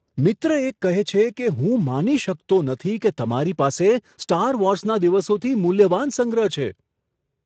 મિત્ર એક કહે છે કે, હું માની શકતો નથી કે તમારી પાસે સ્ટાર વોર્સના દિવસોથી મૂલ્યવાન સંગ્રહ છે.